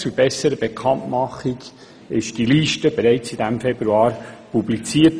Zur besseren Bekanntmachung wurde die Liste im Februar publiziert.